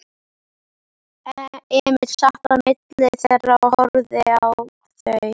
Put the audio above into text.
Emil sat á milli þeirra og horfði á þau.